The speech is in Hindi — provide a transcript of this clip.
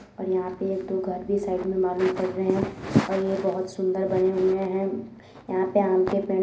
और यहाँ पे एक दो घर भी साइड में मालूम पड़ रहे हैं और ये बहोत सुंदर बने हुए हैं | यहाँ पे आम के पेड़ --